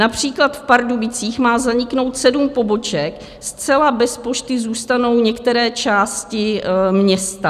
Například v Pardubicích má zaniknout sedm poboček, zcela bez pošty zůstanou některé části města.